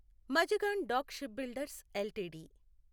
Mazagon Dock Shipbuilders LTD